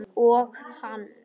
Og á hann.